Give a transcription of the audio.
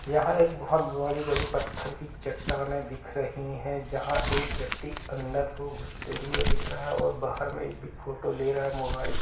यहाँ एक बहुत बड़ी बड़ी पत्थर की चट्टानें दिख रही हैं जहाँ एक व्यक्ति अंदर घुसते हुए दिख रहा हैं और बाहर मे एक भी फोटो ले रहा हैं मोबाईल से--